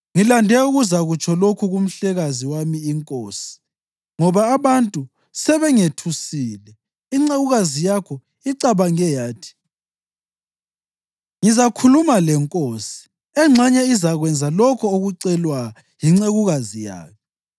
Ngilande ukuzakutsho lokhu kumhlekazi wami inkosi, ngoba abantu sebengethusile. Incekukazi yakho icabange yathi, ‘Ngizakhuluma lenkosi, engxenye izakwenza lokho okucelwa yincekukazi yayo.